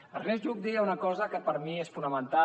ernest lluch deia una cosa que per mi és fonamental